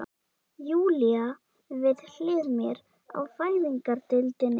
Júlía við hlið mér á fæðingardeildinni.